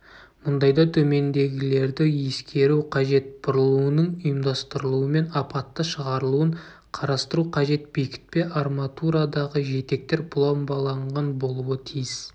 мұндайда төмендегілерді ескеру қажет бұрылуының ұйымдастырылуымен апатты шығарылуын қарастыру қажет бекітпе арматурадағы жетектер пломбаланған болуы тиіс